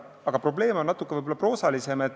Aga probleem on natuke proosalisem.